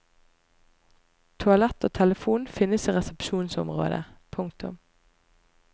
Toalett og telefon finnes i resepsjonsområdet. punktum